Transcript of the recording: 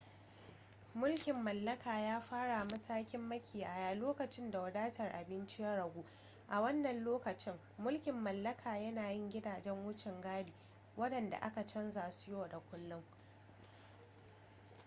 mulkin mallaka ya fara matakin makiyaya lokacin da wadatar abinci ya ragu a wannan lokacin mulkin mallaka yana yin gidajan wucin gadi waɗanda ake canza su yau da kullun